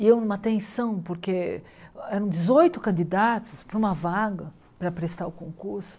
E eu numa tensão, porque eram dezoito candidatos para uma vaga, para prestar o concurso.